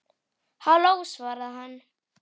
Halló, svaraði hann.